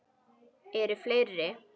Eru fleiri?